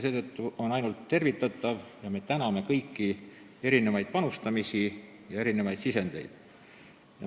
Seetõttu on see arutelu ainult tervitatav ning me täname kõiki panustamast ja sisendit andmast.